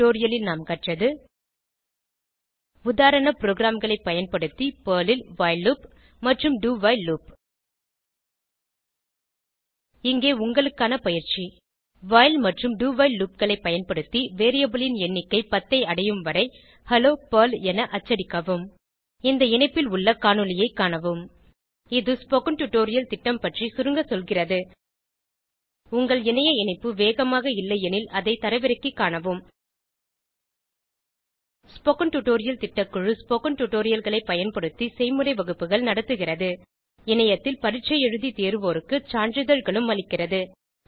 இந்த டுடோரியலில் நாம் கற்றது உதாரண ப்ரோகிராம்களைப் பயன்படுத்தி பெர்ல் ல் வைல் லூப் மற்றும் do வைல் லூப் இங்கே உங்களுக்கான பயிற்சி வைல் மற்றும் do வைல் loopகளை பயன்படுத்தி வேரியபிள் ன் எண்ணிக்கை 10 ஐ அடையும்வரை ஹெல்லோ பெர்ல் என அச்சடிக்கவும் இந்த இணைப்பில் உள்ள காணொளியைக் காணவும் இது ஸ்போகன் டுடோரியல் திட்டம் பற்றி சுருங்க சொல்கிறது உங்கள் இணைய இணைப்பு வேகமாக இல்லையெனில் அதை தரவிறக்கிக் காணவும் ஸ்போகன் டுடோரியல் திட்டக்குழு ஸ்போகன் டுடோரியல்களைப் பயன்படுத்தி செய்முறை வகுப்புகள் நடத்துகிறது இணையத்தில் பரீட்சை எழுதி தேர்வோருக்கு சான்றிதழ்களும் அளிக்கிறது